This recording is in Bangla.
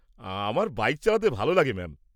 -আমার বাইক চালাতে ভালো লাগে ম্যাম।